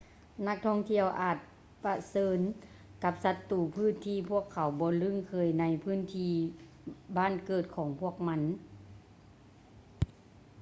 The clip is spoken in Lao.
ນັກທ່ອງທ່ຽວອາດປະເຊີນກັບສັດຕູພືດທີ່ພວກເຂົາບໍ່ລຶ້ງເຄີຍໃນພື້ນທີ່ບ້ານເກີດຂອງພວກມັນ